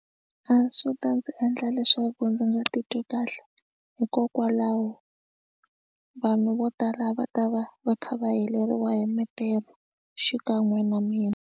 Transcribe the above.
A swi ta ndzi endla leswaku ndzi nga titwi kahle hikokwalaho vanhu vo tala va ta va va kha va heleriwa hi mintirho xikan'we na mina.